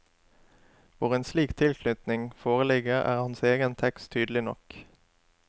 Hvor en slik tilknytning foreligger, er hans egen tekst tydelig nok.